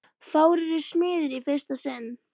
Fáir eru smiðir í fyrsta sinn.